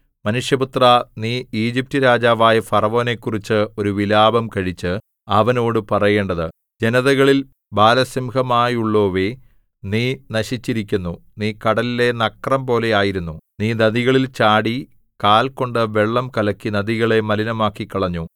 മനുഷ്യപുത്രാ നീ ഈജിപ്റ്റ് രാജാവായ ഫറവോനെക്കുറിച്ച് ഒരു വിലാപം കഴിച്ച് അവനോട് പറയേണ്ടത് ജനതകളിൽ ബാലസിംഹമായുള്ളോവേ നീ നശിച്ചിരിക്കുന്നു നീ കടലിലെ നക്രംപോലെ ആയിരുന്നു നീ നദികളിൽ ചാടി കാൽ കൊണ്ട് വെള്ളം കലക്കി നദികളെ മലിനമാക്കിക്കളഞ്ഞു